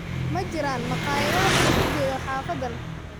Ma jiraan maqaayado wax lagu geeyo xaafaddan